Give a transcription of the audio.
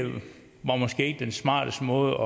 den smarteste måde